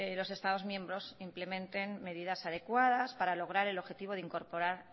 los estados miembros implementen medidas adecuadas para lograr el objetivo de incorporar